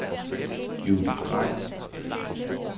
Judith Drejer